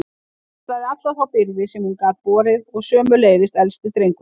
Hún axlaði alla þá byrði sem hún gat borið og sömuleiðis elsti drengurinn.